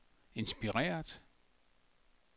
inspireret